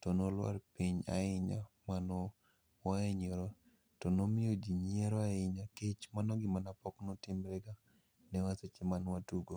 to nwalwar piny ahinya ma nwa wahinyra. To nomiyo ji nyiero ahinya kech mano gima pok notimre ga nwa seche manwatugo.